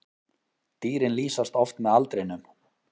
Dýrin lýsast oft með aldrinum.